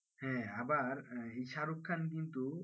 হ্যাঁ আবার এই শাহরুখ খান কিন্তু,